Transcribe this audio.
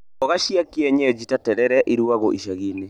Mboga cia kienyeji ta terere irugagwo icagi-inĩ.